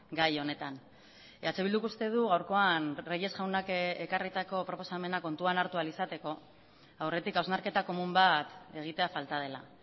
gai honetan eh bilduk uste du gaurkoan reyes jaunak ekarritako proposamena kontuan hartu ahal izateko aurretik hausnarketa komun bat egitea falta dela